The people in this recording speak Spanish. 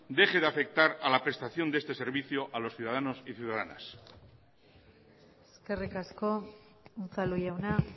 deje de afectar a la prestación de este servicio a los ciudadanos y ciudadanas eskerrik asko unzalu jauna